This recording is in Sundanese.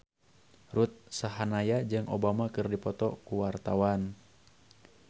Ruth Sahanaya jeung Obama keur dipoto ku wartawan